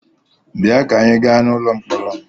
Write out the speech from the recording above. Bịa ka anyị gaa n'ụlọ mkpọrọ!